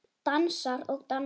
Dansar og dansar.